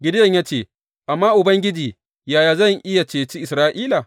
Gideyon ya ce, Amma Ubangiji, yaya zan iya ceci Isra’ila?